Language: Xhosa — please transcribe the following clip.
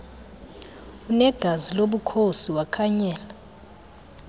unegazi lobukhosi wakhanyela